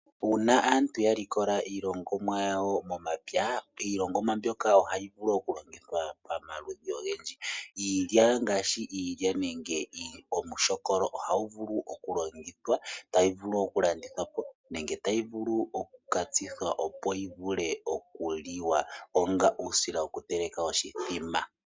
Uuna aantu ya likola iilongomwa yawo momapya iilongomwa mbyoka ohayi vulu oku longithwa pamaludhi ogendji . Iilya nenge iilya-lyaaka ohayi vulu oku longithwa tayi vulu oku landithwapo nenge tayi vulu oku katsithwa opo yivule okuliwa onga uusila woku teleka oshithima.